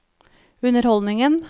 underholdningen